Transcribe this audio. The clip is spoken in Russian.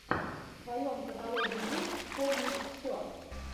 в твоем каталоге есть вспомнить все